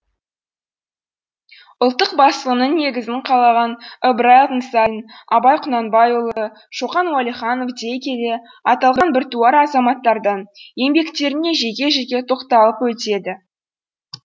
ұлттық басылымның негізін қалаған ыбырай алтынсарин абай құнанбайұлы шоқан уәлиханов дей келе аталған біртуар азамматтардың еңбектеріне жеке жеке тоқталып өтеді